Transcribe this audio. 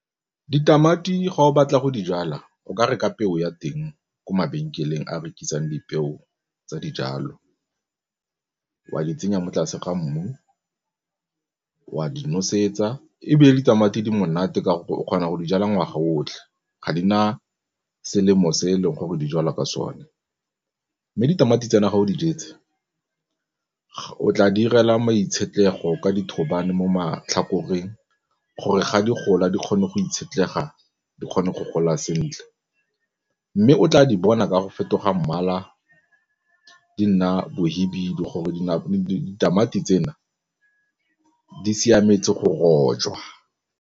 Ditamati ga o batla go dijala o ka re ka peo ya teng ko mabenkeleng a a rekisang dipeo tsa dijalo wa di tsenya mo tlase ga mmu, wa di nosetsa ebile ditamati di monate ka gore o kgona go dijala ngwaga o otlhe ga di na selemo se e leng gore di jalwa ka sone mme ditamati tsena ga o di jetse, o tla di 'irela ka dithobane mo matlhakoreng gore ga di gola di kgone go itshegetsa di kgone go gola sentle mme o tla di bona ka go fetoga mmala di nna mohibidu gore ditamati tsena di siametse go rojwa.